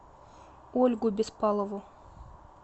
ольгу беспалову